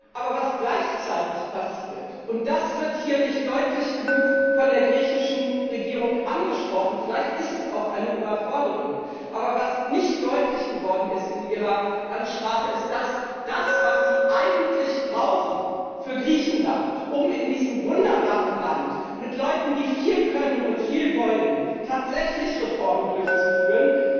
Aber was gleichzeitig passiert und das wird hier nicht deutlich genug von der griechischen Regierung angesprochen, vielleicht ist es auch eine Überforderung und was nicht deutlich geworden ist in Ihrer Ansprache, ist, dass das, was Sie eigentlich brauchen für Griechenland, um in diesem wunderbaren Land mit Leuten, die viel können und viel wollen, tatsächlich Reformen durchzuführen,